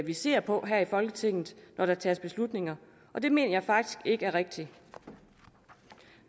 vi ser på her i folketinget når der tages beslutninger og det mener jeg faktisk ikke er rigtigt